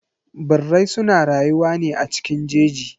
Birrai suna rayuwa ne a cikin jeji.